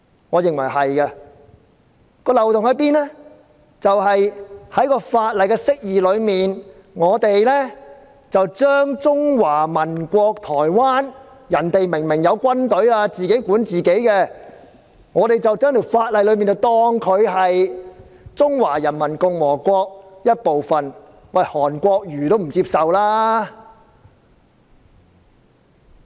我認為是的，漏洞在於該法例的釋義，將中華民國——他們明明有自己的軍隊，並自行管理本身的事務——當成中華人民共和國的一部分，連韓國瑜也不接受。